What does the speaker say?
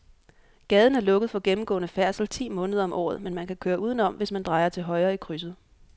Gaden er lukket for gennemgående færdsel ti måneder om året, men man kan køre udenom, hvis man drejer til højre i krydset.